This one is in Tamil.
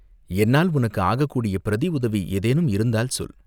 "என்னால் உனக்கு ஆகக்கூடிய பிரதி உதவி ஏதேனும் இருந்தால் சொல்!